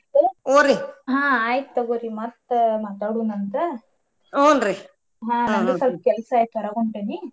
ಆಯ್ತ ತುಗೋರಿ ಮತ್ತ ಮಾತಾಡೋನ ಅಂತ ನಂದು ಸ್ವಲ್ಪ ಕೆಲ್ಸ ಐತಿ ಹೊರಗ್ ಹೊಂಟೇನಿ.